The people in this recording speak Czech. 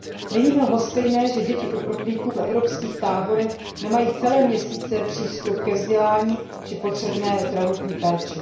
Není mi lhostejné, že děti uprchlíků v evropských táborech nemají celé měsíce přístup ke vzdělání či potřebné zdravotní péči.